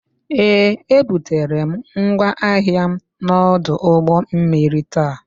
Ee, ebutere m ngwa ahịa m n'ọdụ ụgbọ mmiri ta.